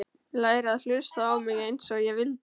Læra að hlusta á mig einsog ég vildi.